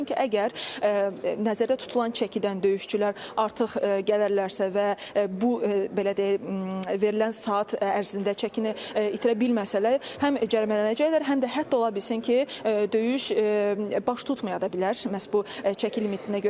Çünki əgər nəzərdə tutulan çəkidən döyüşçülər artıq gələrlərsə və bu belə deyək verilən saat ərzində çəkini itirə bilməsələr, həm cərimələnəcəklər, həm də hətta ola bilsin ki, döyüş baş tutmaya da bilər məhz bu çəki limitinə görə.